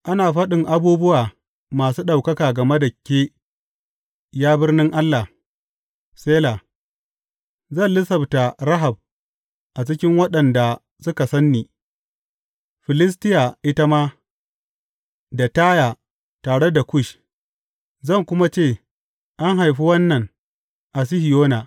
Ana faɗin abubuwa masu ɗaukaka game da ke Ya birnin Allah, Sela Zan lissafta Rahab a cikin waɗanda suka san ni, Filistiya ita ma, da Taya, tare da Kush, zan kuma ce, An haifi wannan a Sihiyona.’